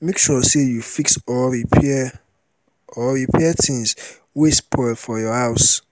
make sure say you fix or repair or repair things wey spoil for your house